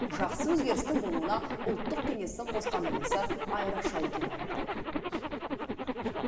жақсы өзгерістің болуына ұлттық кеңестің қосқан үлесі айрықша екенін айтты